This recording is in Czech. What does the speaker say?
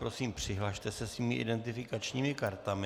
Prosím, přihlaste se svými identifikačními kartami.